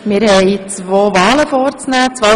Wir haben zwei Wahlen vorzunehmen: